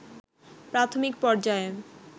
প্রাথমিক পর্যায়ে